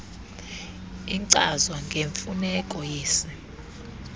inkcazo ngemfuneko yesi